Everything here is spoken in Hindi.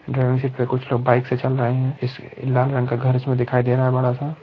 ड्राइविंग शीट पे कुछ लोग कुछ लोग बाइक से चल रहे है। इस लाल रंग का घर इसमें दिखाई दे रहा है बड़ा सा।